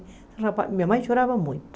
Minha mãe chorava muito.